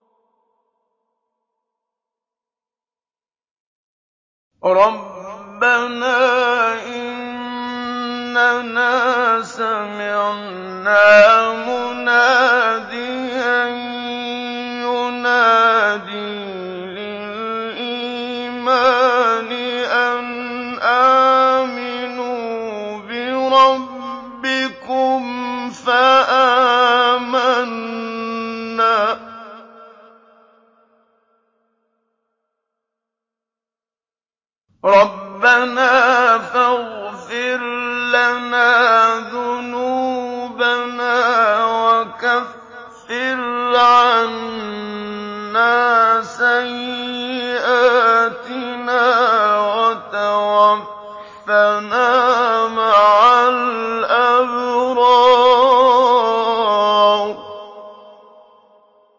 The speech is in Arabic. رَّبَّنَا إِنَّنَا سَمِعْنَا مُنَادِيًا يُنَادِي لِلْإِيمَانِ أَنْ آمِنُوا بِرَبِّكُمْ فَآمَنَّا ۚ رَبَّنَا فَاغْفِرْ لَنَا ذُنُوبَنَا وَكَفِّرْ عَنَّا سَيِّئَاتِنَا وَتَوَفَّنَا مَعَ الْأَبْرَارِ